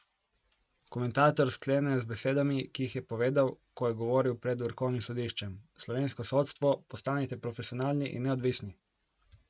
Komentator sklene z besedami, ki jih je povedal, ko je govoril pred vrhovnim sodiščem: 'Slovensko sodstvo, postanite profesionalni in neodvisni!